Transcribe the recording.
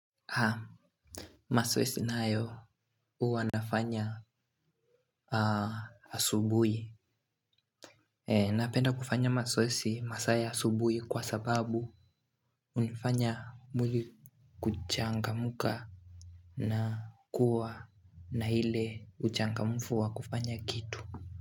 Haa, mazoezi nayo huwa nafanya asubuhi. Napenda kufanya mazoezi masaa ya asubuhi kwa sababu hunifanya mwili kuchangamka na kuwa na ile uchangamfu wa kufanya kitu.